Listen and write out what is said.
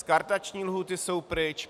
Skartační lhůty jsou pryč.